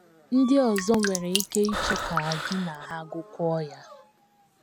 Ndị ọzọ nwere ike ịchọ ka gị na ha gụkọọ ya.